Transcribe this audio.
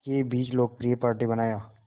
के बीच लोकप्रिय पार्टी बनाया